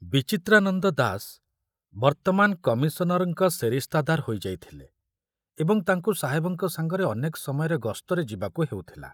ବିଚିତ୍ରାନନ୍ଦ ଦାସ ବର୍ତ୍ତମାନ କମିଶନରଙ୍କ ସେରିସ୍ତାଦାର ହୋଇଯାଇଥିଲେ ଏବଂ ତାଙ୍କୁ ସାହେବଙ୍କ ସାଙ୍ଗରେ ଅନେକ ସମୟରେ ଗସ୍ତରେ ଯିବାକୁ ହେଉଥିଲା।